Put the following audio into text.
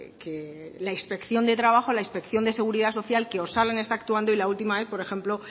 que la inspección de trabajo la inspección de seguridad social que osalan está actuando y la última vez por ejemplo